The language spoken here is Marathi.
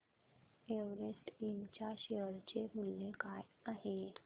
एव्हरेस्ट इंड च्या शेअर चे मूल्य काय आहे